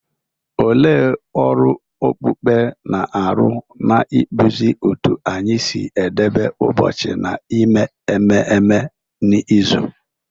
Olee ọrụ okpukpe na-arụ n’ịkpụzi otú anyị si edebe ụbọchị na ime ememme n’izu?